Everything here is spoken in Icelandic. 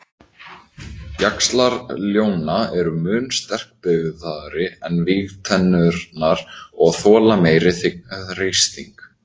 Jaxlar ljóna eru mun sterkbyggðari en vígtennurnar og þola meiri þrýsting.